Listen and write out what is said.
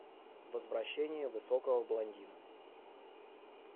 возвращение высокого блондина